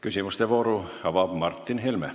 Küsimuste vooru avab Martin Helme.